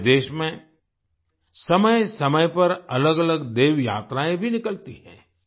हमारे देश में समयसमय पर अलगअलग देवयात्राएं भी निकलती हैं